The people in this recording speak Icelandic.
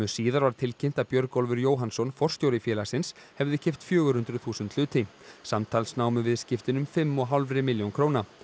síðar var tilkynnt að Björgólfur Jóhannsson forstjóri félagsins hefði keypt fjögur hundruð þúsund hluti samtals námu viðskiptin um fimm og hálfri milljón króna